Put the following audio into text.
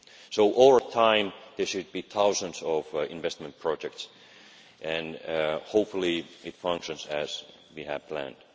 So over time there should be thousands of investment projects, and hopefully it functions as we have planned.